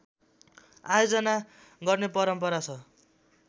आयोजना गर्ने परम्परा छ